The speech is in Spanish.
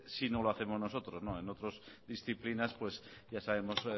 si no lo hacemos nosotros en otras disciplinas pues ya sabemos